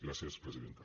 gràcies presidenta